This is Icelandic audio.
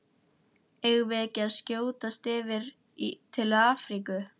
Eigum við ekki að skjótast yfir til Afríku?